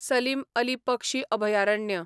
सलीम अली पक्षी अभयारण्य